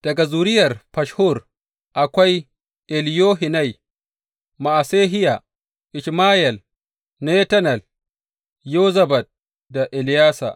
Daga zuriyar Fashhur, akwai Eliyohenai, Ma’asehiya, Ishmayel, Netanel, Yozabad da Eleyasa.